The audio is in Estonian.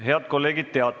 Head kolleegid!